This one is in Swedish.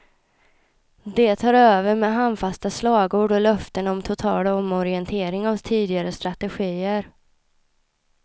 De tar över med handfasta slagord och löften om total omorientering av tidigare strategier.